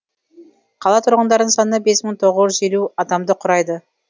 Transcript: қала тұрғындарының саны бес мың тоғыз жүз елу адамды құрайды